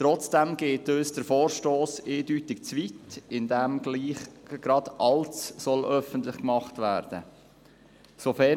Trotzdem geht uns der Vorstoss eindeutig zu weit, indem gleich gerade alles öffentlich gemacht werden soll.